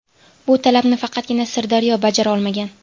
Bu talabni faqatgina Sirdaryo bajara olmagan.